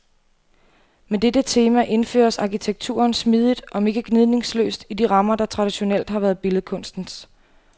Med dette tema indføres arkitekturen smidigt om ikke gnidningsløst i de rammer, der traditionelt har været billedkunstens.